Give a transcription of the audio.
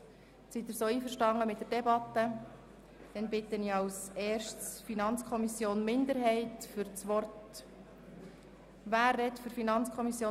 Als Erstes spricht die FiKo-Minderheit, danach haben die Antragstellenden seitens der SP-JUSO-PSA-Fraktion sowie die Co-Antragstellenden seitens der Grünen jeweils zum ganzen Themenblock das Wort.